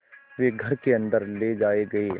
वे घर के अन्दर ले जाए गए